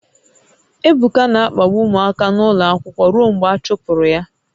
Ebuka na-akpagbu ụmụaka n'ụlọ akwụkwọ ruo mgbe a chụpụrụ ya